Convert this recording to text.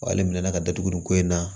Wa ale minɛ ka datugu nin ko in na